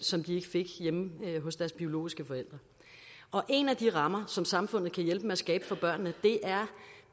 som de ikke fik hjemme hos deres biologiske forældre en af de rammer som samfundet kan hjælpe med at skabe for børnene er